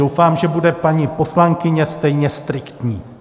Doufám, že bude paní poslankyně stejně striktní.